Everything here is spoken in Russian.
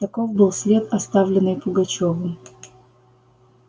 таков был след оставленный пугачёвым